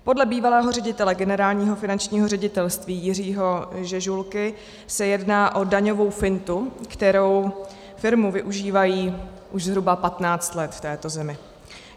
Podle bývalého ředitele Generálního finančního ředitelství Jiřího Žežulky se jedná od daňovou fintu, kterou firmy využívají už zhruba 15 let v této zemi.